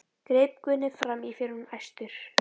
greip Gunni fram í fyrir honum æstur.